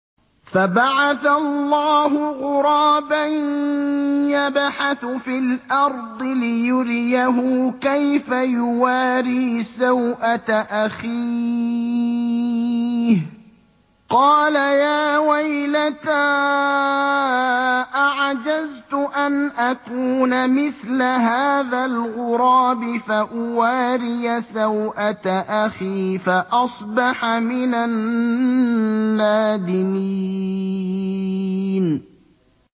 فَبَعَثَ اللَّهُ غُرَابًا يَبْحَثُ فِي الْأَرْضِ لِيُرِيَهُ كَيْفَ يُوَارِي سَوْءَةَ أَخِيهِ ۚ قَالَ يَا وَيْلَتَا أَعَجَزْتُ أَنْ أَكُونَ مِثْلَ هَٰذَا الْغُرَابِ فَأُوَارِيَ سَوْءَةَ أَخِي ۖ فَأَصْبَحَ مِنَ النَّادِمِينَ